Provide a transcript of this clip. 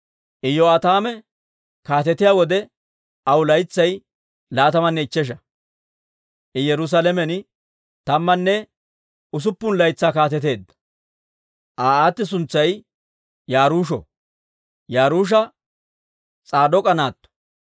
Iyo'aataame kaatetiyaa wode aw laytsay laatamanne ichchesha; I Yerusaalamen tammanne usuppun laytsaa kaateteedda. Aa aati suntsay Yaruusho; Yaruusha S'aadook'a naatto.